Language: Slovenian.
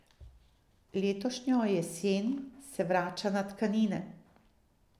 Letošnjo jesen se vrača na tkanine.